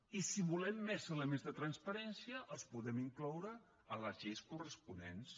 i si volem més elements de transparència els podem incloure en les lleis corresponents